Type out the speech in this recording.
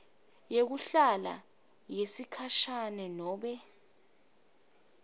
yekuhlala yesikhashana nobe